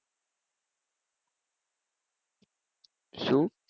શું?